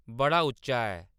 बड़ा उच्चा ऐ